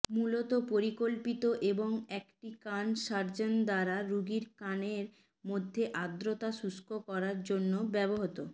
মূলত পরিকল্পিত এবং একটি কান সার্জন দ্বারা রোগীর কানের মধ্যে আর্দ্রতা শুষ্ক করার জন্য ব্যবহৃত